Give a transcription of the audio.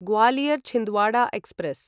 Gwalior Chhindwara express